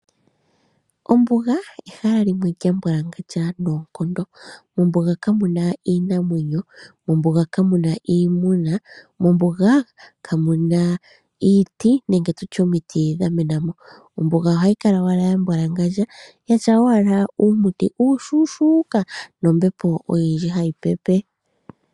Ombuga ehala limwe lyambwalangandja noonkondo, mombuga kamu na iinamwenyo, mombuga kamu na iimuna, mombuga kamu na iiti nenge tu tye omiti dha mena mo. Ombuga ohayi kala owala yambwalangandja yatya owala uumuti uushuushuuka nombepo oyindji hayi pepe.